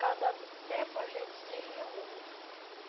Cada tempo a gente se reúne.